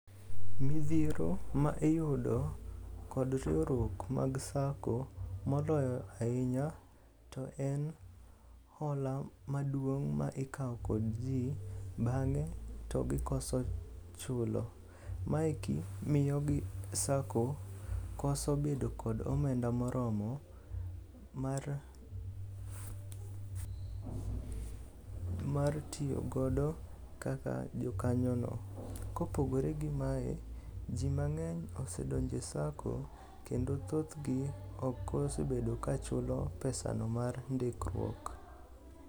Midhiero ma iyudo kod riwruok mag sacco moloyo ahinya to en hola maduong' ma ikawo kod ji bang'e to gikoso chulo. Maeki miyo sacco koso bedo kod omenda moromo mar tiyogodo kaka jokanyono. Kopogore gi mae, ji mang'eny osedonjo e sacco kendo thothgi ok osebedo ka chulo pesano mar ndikruok.